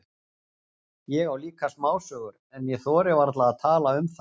Ég á líka smásögur, en ég þori varla að tala um það.